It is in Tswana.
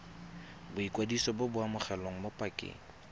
boikwadiso bo amogelwa mo pakeng